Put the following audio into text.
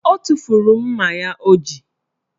O tufuru mma ya o ji